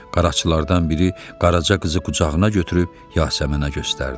Qaraçılardan biri Qaraca qızı qucağına götürüb Yasəmənə göstərdi.